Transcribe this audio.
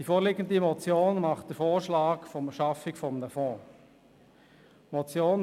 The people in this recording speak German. Die vorliegende Motion schlägt die Schaffung eines Fonds vor.